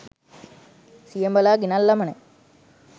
සියඹලා ගෙනල්ලම නෑ.